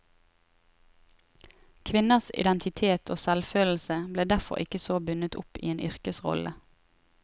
Kvinners identitet og selvfølelse ble derfor ikke så bundet opp i en yrkesrolle.